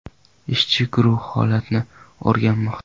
Ishchi guruh holatni o‘rganmoqda.